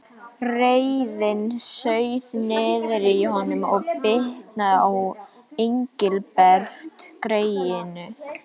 Reiðin sauð niðri í honum og bitnaði á Engilbert greyinu.